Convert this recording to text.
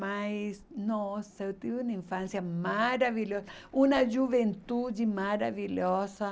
Mas, nossa, eu tive uma infância maravilhosa, uma juventude maravilhosa.